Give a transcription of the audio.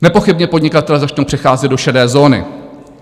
Nepochybně podnikatelé začnou přecházet do šedé zóny.